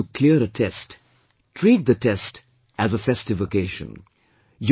In order to clear a test, treat the test as a festive occasion